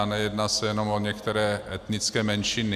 A nejedná se jenom o některé etnické menšiny.